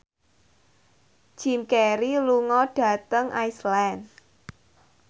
Jim Carey lunga dhateng Iceland